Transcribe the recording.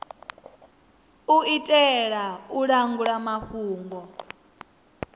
u itela u langula mafhungo